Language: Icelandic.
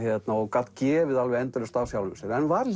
gat gefið endalaust af sjálfum sér en var